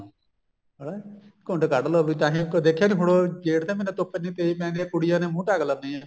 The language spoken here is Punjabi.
ਹਨਾ ਵੀ ਘੁੰਡ ਕੱਡ ਲੋ ਵੀ ਤਾਹੀਂ ਉੱਥੋ ਦੇਖਿਆ ਨੀ ਜੇਠ ਦੇ ਮਹੀਨੇ ਧੁੱਪ ਇੰਨੀ ਤੇਜ਼ ਪੈਂਦੀ ਆਈ ਕੁੜੀਆਂ ਨੇ ਮੁੰਹ ਢੱਕ ਲੈਦੀਆਂ